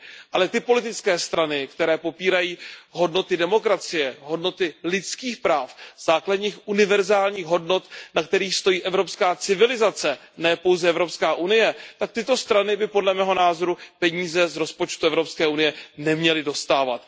Ale ty politické strany, které popírají hodnoty demokracie, hodnoty lidských práv, základní univerzální hodnoty, na kterých stojí evropská civilizace, ne pouze EU, tak tyto strany by, podle mého názoru, peníze z rozpočtu EU neměly dostávat.